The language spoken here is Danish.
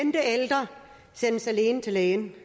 en